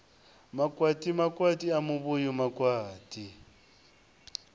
makwati makwati a muvhuyu makwati